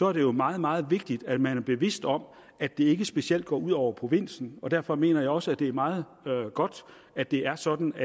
er det jo meget meget vigtigt at man er bevidst om at det ikke specielt går ud over provinsen og derfor mener jeg også at det er meget godt at det er sådan at